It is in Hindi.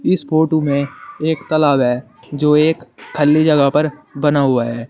इस फोटो में एक तालाब है जो एक खाली जगहों पर बना हुआ है।